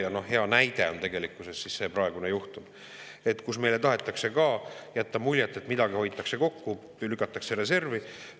Ja hea näide on tegelikkuses see praegune juhtum, kus meile tahetakse jätta muljet, et midagi hoitakse kokku, lükatakse reservi.